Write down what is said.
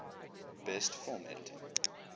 best film editing